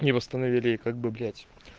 не восстановили и как бы блять